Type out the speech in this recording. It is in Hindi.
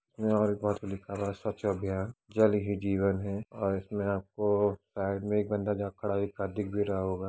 यहाँ दीवाल पे लिखा है स्वच्छ अभियान जल ही जीवन है और इसमें आपको साइड में एक बंदा जहाँ खड़ा दिख भी रहा होगा |